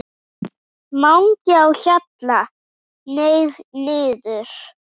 MANGI Á HJALLA, hneig niður.